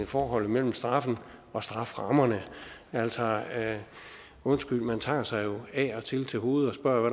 forholdet mellem straffen og strafferammen altså undskyld man tager sig jo af og til til hovedet og